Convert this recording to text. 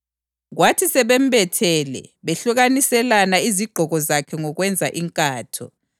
Kwathi sebembethele behlukaniselana izigqoko zakhe ngokwenza inkatho.